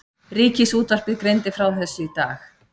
Ríkisútvarpið greindi frá þessu í dag